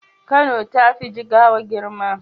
Kano tafi jigawa girma